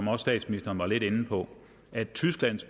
må